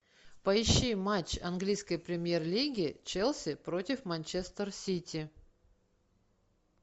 поищи матч английской премьер лиги челси против манчестер сити